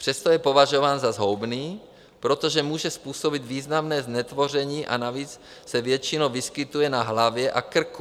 Přesto je považován za zhoubný, protože může způsobit významné znetvoření a navíc se většinou vyskytuje na hlavě a krku.